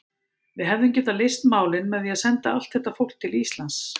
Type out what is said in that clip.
Við hefðum getað leyst málin með því að senda allt þetta fólk til Íslands.